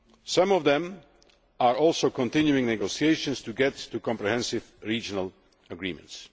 Some of them are also continuing negotiations to get to comprehensive regional agreements.